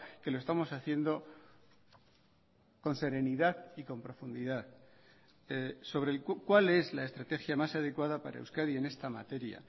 que lo estamos haciendo con serenidad y con profundidad sobre cuál es la estrategia más adecuada para euskadi en esta materia